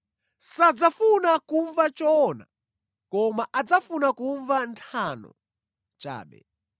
Sadzafuna kumva choona koma adzafuna kumva nthano chabe.